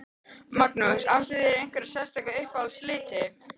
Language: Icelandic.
Magnús: Áttu þér einhverja sérstaka uppáhalds liti?